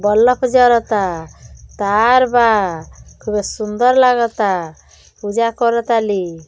Bulb जरता। तार बा। खूबे सुन्दर लागता। पूजा करत ताली।